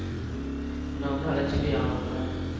உன்ன வந்து அழச்சிக்க யாரும் இல்ல